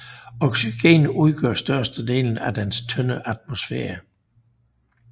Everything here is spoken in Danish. Oxygen udgør størstedelen af dens tynde atmosfære